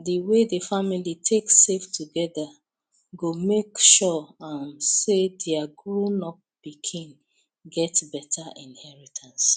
the way the family take save together go make sure um say their grownup pikin get better inheritance